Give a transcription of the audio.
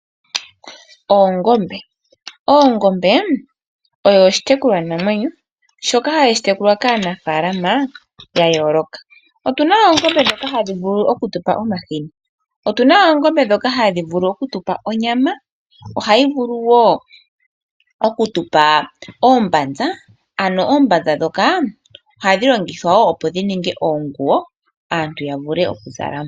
Ongombe oyo oshitekulwanamwenyo shoka hashi tekulwa kaanafaalama yayooloka. Otuna oongombe ndhoka hadhi vulu okudhipa omahini . Otuna oongombe ndhoka hadhi vulu okutupa omahini. Ohayi vulu wo okutupa oombanza, ano oombanza ndhoka ohadhi longithwa opo dhiningwe oonguwo, aantu yavule okuzala.